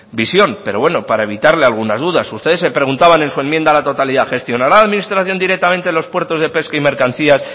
visión pero bueno para evitarle alguna duda ustedes se preguntaban en su enmienda a la totalidad gestionará la administración directamente los puertos de pesca y mercancía